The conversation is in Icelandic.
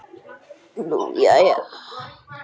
Nú jæja.